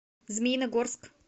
змеиногорск